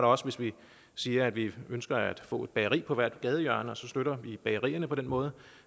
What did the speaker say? også hvis vi siger at vi ønsker at få et bageri på hvert gadehjørne og så støtter vi bagerierne på den måde